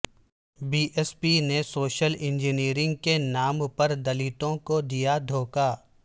be S P نے social engineering کے نام پر د لتوں کو د یا دھوکہ